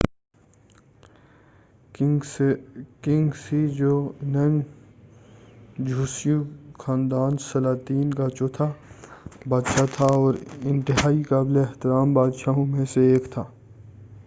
king Sejong جوسیوں خاندان سلاطین کا چوتھا بادشاہ تھا اور انتہائی قابل احترام بادشاہوں میں سے ایک تھا